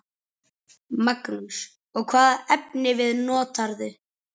Magnús: Og hvaða efnivið notarðu?